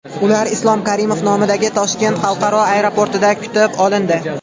Ular Islom Karimov nomidagi Toshkent xalqaro aeroportida kutib olindi.